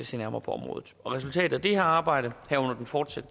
se nærmere på området resultatet af det arbejde herunder den fortsatte